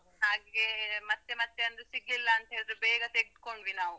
ಹಾಗೆ ಮತ್ತೆ ಮತ್ತೆ ಅಂದ್ರೆ ಸಿಗ್ಲಿಲ್ಲ ಅಂತ್ ಹೇಳಿದ್ರೆ ಬೇಗ ತೆಗ್ದ್ ಕೊಂಡ್ವಿ ನಾವು.